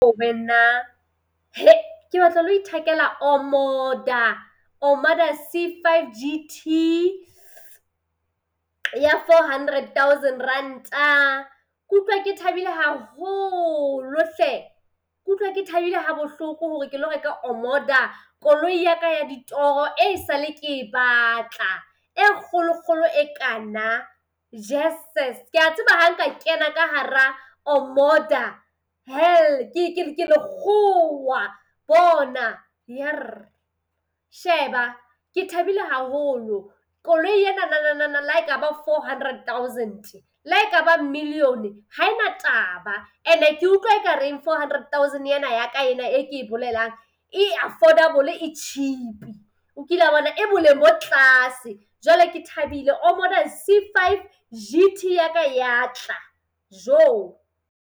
Wena ke batla ho lo ithekela Omoda, Omoda C5 GT ya four hundred thousand Ranta. Ke utlwa ke thabile haholo hle. Ke utlwa thabile ha bohloko hore kelo reka Omoda koloi ya ka ya ditoro e sale ke e batla, e kgolokgolo e kana. Jeses kea tseba ha nka kena ka hara Omoda hell Ke lekgowa, bona yerr. Sheba, ke thabile haholo. Koloi ena le ha e ka ba four hundred thousand-e le ha e ka ba million-e ha ena taba. And-e ke utlwa e ka reng four hundred thousand ena ya ka ena e ke e bolelang e affordable, e cheap-i. O kila bona? E boleng bo tlase. Jwale ke thabile Omoda C5 GT yaka ya tla, joo.